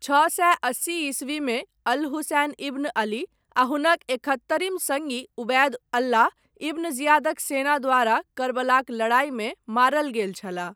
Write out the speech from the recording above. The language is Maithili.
छओ सए अस्सी ईस्वीमे, अल हुसैन इब्न अली, आ हुनक एकहत्तरिम सङ्गी, उबैद अल्लाह, इब्न जियादक सेना द्वारा, कर्बलाक लड़ाइमे मारल गेल छलाह।